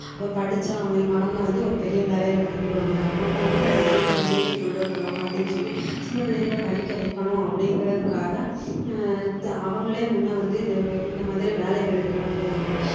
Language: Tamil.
அப்ப படிச்சா அவங்~ அவங்க வந்து ஒரு பெரிய வேலையில வந்துருவாங்க அவங்க வந்து நம்ம வீட்டை முன்னேத்தி கொண்டு வந்துருவாங்க அப்படின்னு சொல்லி சின்ன பிள்ளைங்களை படிக்க வைக்கணும் அப்படிங்கிறதுக்காக ஆஹ் த~ அவங்களே முன்ன வந்து இந்த வ~ இந்த மாதிரி வேலைகளுக்கெல்லாம் போவாங்க